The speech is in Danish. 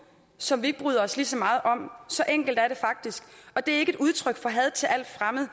som vi ikke bryder os lige så meget om så enkelt er det faktisk og det er ikke et udtryk for had til alt fremmed